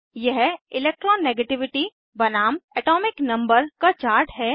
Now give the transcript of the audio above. यह इलेक्ट्रोनेगेटिविटी बनाम atomic number का चार्ट है